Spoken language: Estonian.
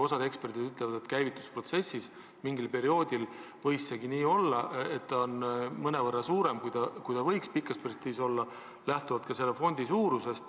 Osa eksperte aga ütleb, et käivitusprotsessis mingil perioodil võiski see nii olla, et ta nüüd on mõnevõrra suurem, kui ta võiks pikas perspektiivis olla, lähtuvalt ka selle fondi suurusest.